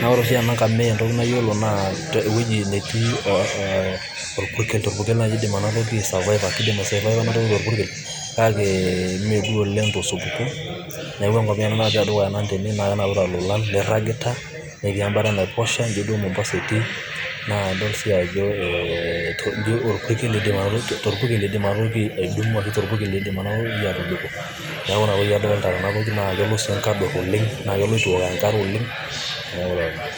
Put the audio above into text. naa ore oshi ena nkamia entoki nayiolo naa ewueji netii eeh eeh orpukel torpukel naaji eidim enatoki ai survivor kidim ai survivor enatoki torpurkel kake mee duo oleng tosupuko, neeku enkamia ena naatii te dukuya nanu tene. Naa kenapita lolan, neiragita, netii em'bata enaiposha, ijo duo mombasa etii naa idol sii ajo eeh ee orpurkel torpurkel eidim ena toki atobiko, neeku inatoki adolita tena toki naa kelo sii nkador naa kelo eitu ewok enkare oleng, neeku taa lelo.